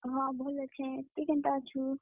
ଭଲ ଅଛେଁ ତୁଇ କେନ୍ତା ଅଛୁ?